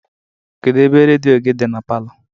Kedụ ebe rediọ gị dị na palọ?